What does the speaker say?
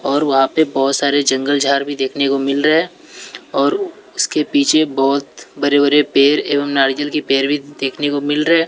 और वहां पे बहुत सारे जंगल झाड़ भी देखने को मिल रहे है और उसके पीछे बहुत बड़े बड़े पेड़ एवं नारियल के पेड़ भी देखने को मिल रहे हैं।